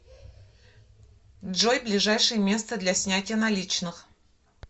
джой ближайшее место для снятия наличных